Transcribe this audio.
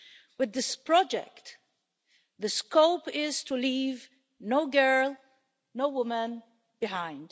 With this project, the scope is to leave no girl, no woman behind.